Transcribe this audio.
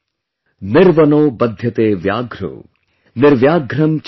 निर्वनो बध्यते व्याघ्रो, निर्व्याघ्रं छिद्यते वनम |